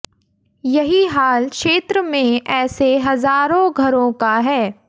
यही हाल क्षेत्र में ऐसे हजारों घरों का है